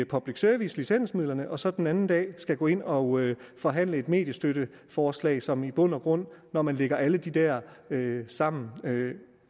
public service licensmidlerne og så den anden dag skal gå ind og forhandle et mediestøtteforslag som i bund og grund når man lægger alle de der sammen